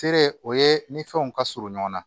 Feere o ye ni fɛnw ka surun ɲɔgɔn na